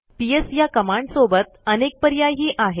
PS ह्या कमांडसोबत अनेक पर्यायही आहेत